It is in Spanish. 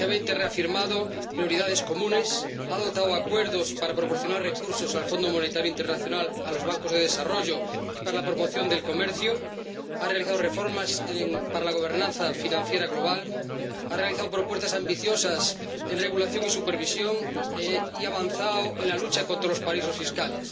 El G 20 ha reafirmado prioridades comunes, ha adoptado acuerdos para proporcionar recursos al Fondo Monetario Internacional, a los bancos de desarrollo y para la promoción del comercio, ha realizado reformas para la gobernanza financiera global, ha realizado propuestas ambiciosas en regulación y supervisión, y ha avanzado en la lucha contra los paraísos fiscales.